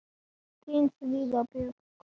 Þín Fríða Björk.